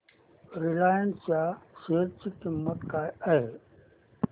Reliance च्या share ची किंमत काय आहे